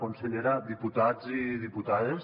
consellera diputats i diputades